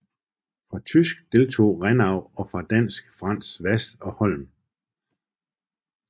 Fra tysk deltog Rennau og fra dansk Frants Hvass og Holm